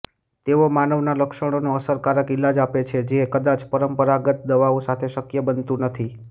તેઓ માનવના લક્ષણોનો અસરકારક ઇલાજ આપે છે જે કદાચ પરંપરાગત દવાઓ સાથે શક્ય બનતું નથી